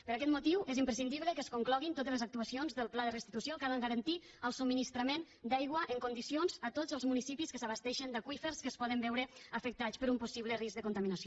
per aquest motiu és imprescindible que es concloguin totes les actuacions del pla de restitució que ha de garantir el subministrament d’aigua en condicions a tots els municipis que s’abasteixen d’aqüífers que es poden veure afectats per un possible risc de contaminació